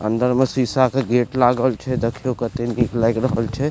अंदर में शीशा के गेट लागल छै देखियो केतना निक लाएग रहल छै।